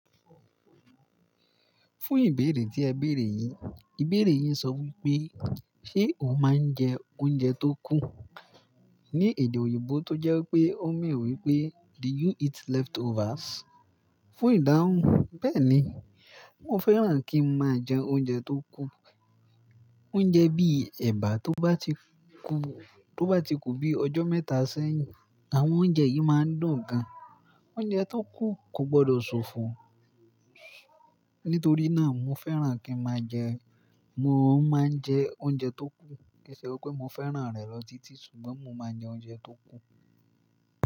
Fún ìbéèrè tí ẹ béèrè yìí, ìbéèrè yìn n sọ wí pé ṣe o máa ń jẹ oúnjẹ tó kù? Ni èdè òyìnbó tó jẹ́ wi pé ó mean wí pé "Do you eat leftovers?" Fún ìdáhùn, bẹ́ẹ̀ ni, mo fẹ́ràn kí n máa jẹ oúnjẹ tó kù. Oúnjẹ bí ẹ̀bà tó bá ti kù, tó bá ti kù bí ọjọ́ mẹ́ta sẹ́yìn, àwọn oúnjẹ yìí máa ń dùn gan. Oúnjẹ tó kù kò gbọdọ̀ sofo. Nítorí náà mo fẹ́ràn kí n máa jẹ, mo máa ń jẹ oúnjẹ tó kù. Kì í ṣe wí pé mo fẹ́ràn rẹ̀ lọ títí, ṣùgbọ́n mo máa ń jẹ oúnjẹ tó kù.